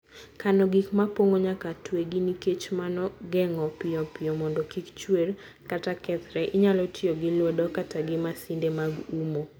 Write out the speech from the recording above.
Kano gik mopong'o, nyaka twegi nikech mano geng'o piyo piyo mondo kik chuer kata kethre. Inyalo tiyo gi lwedo kata gi masinde mag umo